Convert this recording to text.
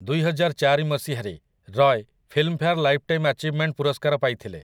ଦୁଇହଜାରଚାରି ମସିହାରେ, Roy Filmfare lifetime achievement ପୁରସ୍କାର ପାଇଥିଲେ ।